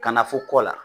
Ka na fo kɔ la